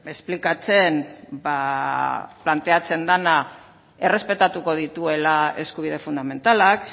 esplikatzen ba planteatzen dena errespetatuko dituela eskubide fundamentalak